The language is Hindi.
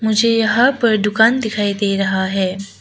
मुझे यहां पर दुकान दिखाई दे रहा है।